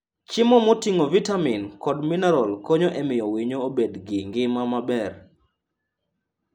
Chiemo moting'o vitamin kod mineral konyo e miyo winyo obed gi ngima maber.